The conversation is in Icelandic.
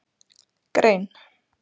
Grein